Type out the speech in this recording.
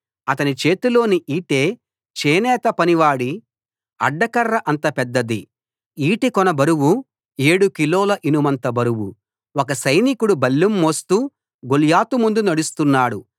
అతని చేతిలోని ఈటె చేనేత పనివాడి అడ్డకర్ర అంతపెద్దది ఈటె కొన బరువు 7 కిలోల ఇనుమంత బరువు ఒక సైనికుడు బల్లెం మోస్తూ గొల్యాతు ముందు నడుస్తున్నాడు